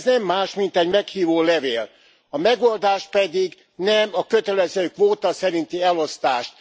Ez nem más, mint egy meghívólevél, a megoldás pedig nem a kötelező kvóta szerinti elosztás.